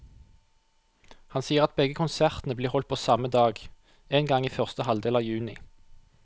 Han sier at begge konsertene blir holdt på samme dag, en gang i første halvdel av juni.